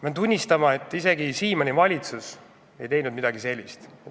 Pean tunnistama, et isegi Siimanni valitsus ei teinud midagi sellist.